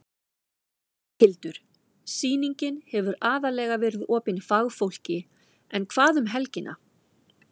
Berghildur: Sýningin hefur aðallega verið opin fagfólki en hvað um helgina?